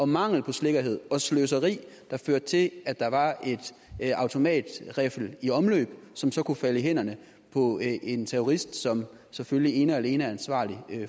mangel på sikkerhed og sløseri der førte til at der var en automatriffel i omløb som så kunne falde i hænderne på en terrorist som selvfølgelig ene og alene er ansvarlig